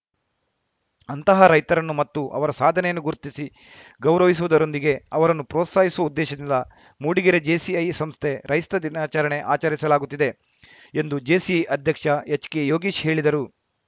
ಅಂತಹ ರೈತರನ್ನು ಮತ್ತು ಅವರ ಸಾಧನೆಯನ್ನು ಗುರ್ತಿಸಿ ಗೌರವಿಸುವುದರೊಂದಿಗೆ ಅವರನ್ನು ಪ್ರೋತ್ಸಾಹಿಸುವ ಉದ್ದೇಶದಿಂದ ಮೂಡಿಗೆರೆ ಜೇಸಿಐ ಸಂಸ್ಥೆ ರೈಸ್ತತ ದಿನಾಚರಣೆ ಆಚರಿಸಲಾಗುತ್ತಿದೆ ಎಂದು ಜೇಸಿಐ ಅಧ್ಯಕ್ಷ ಎಚ್‌ಕೆ ಯೋಗೀಶ್‌ ಹೇಳಿದರು